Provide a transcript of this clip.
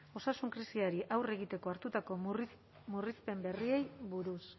osasun krisiari aurre egiteko hartutako murrizpen berriei buruz